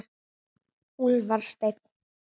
Úlfar Steinn.